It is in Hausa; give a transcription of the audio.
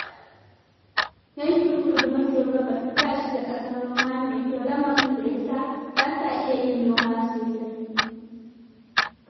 Yankin Kudu maso Gabas ba shi da ƙasar noma mai kyau, lamarin da ya sa ba sa iya yin noma sasai.